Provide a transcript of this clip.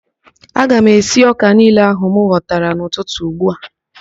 Aga m esi ọ́kà niile ahụ m ghọtara n'ụtụtụ ugbua